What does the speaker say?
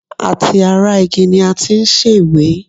Àti ara igi ni a ti ṣe ìwé?